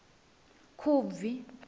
khubvi